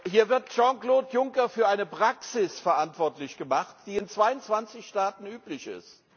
Hier wird Jean Claude Juncker für eine Praxis verantwortlich gemacht, die in 22 Staaten üblich ist.